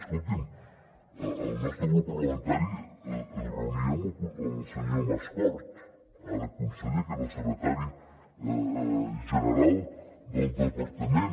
escolti’m el nostre grup parlamentari es reunia amb el senyor mascort ara conseller que era el secretari general del departament